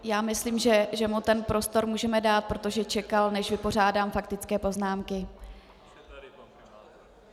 Já myslím, že mu ten prostor můžeme dát, protože čekal, než vypořádám faktické poznámky.